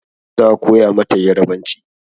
Za a koya mata yarbanci.